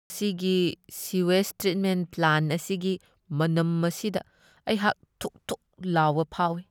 ꯃꯁꯤꯒꯤ sewage treatment plant ꯑꯁꯤꯒꯤ ꯃꯅꯝ ꯑꯁꯤꯗ ꯑꯩꯍꯥꯛ ꯊꯨꯛ ꯊꯨꯛ ꯂꯥꯎꯕ ꯐꯥꯎꯢ꯫